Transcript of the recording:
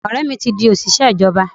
Ọ̀rẹ́ mi ti di òṣìṣẹ́ ìjọba.